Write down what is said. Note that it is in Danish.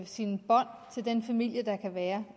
sine bånd til den familie der kan være